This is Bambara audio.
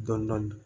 Dɔndɔni